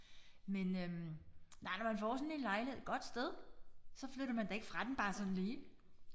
Men øh nej når man får sådan en lejlighed et godt sted så flytter man da ikke fra den bare sådan lige